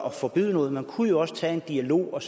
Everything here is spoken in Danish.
at forbyde noget man kunne også tage en dialog og